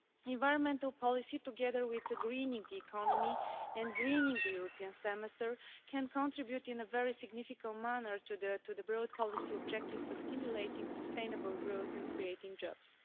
Environmental policy, together with the greening economy and greening the European Semester can contribute in a very significant manner to the broad policy objectives of stimulating sustainable growth and creating jobs.